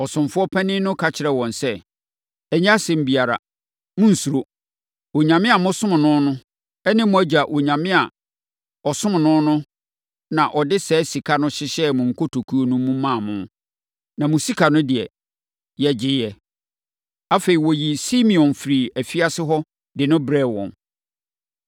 Ɔsomfoɔ panin no ka kyerɛɛ wɔn sɛ, “Ɛnyɛ asɛm biara. Monnsuro. Onyame a mosom no ne mo agya Onyame a ɔsom no na ɔde saa sika no hyehyɛɛ mo nkotokuo no mu maa mo. Na mo sika no deɛ, yɛgyeeɛ.” Afei, ɔyii Simeon firii afiase hɔ de no brɛɛ wɔn.